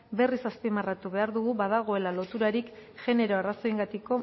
berriz azpimarratu behar dugu badagoela loturarik genero arrazoiengatik